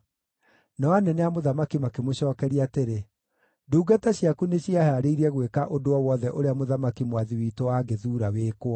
Nao anene a mũthamaki makĩmũcookeria atĩrĩ, “Ndungata ciaku nĩciĩhaarĩirie gwĩka ũndũ o wothe ũrĩa mũthamaki mwathi witũ angĩthuura wĩkwo.”